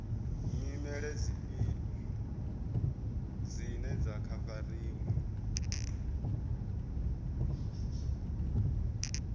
nyimele dzifhio dzine dza khavariwa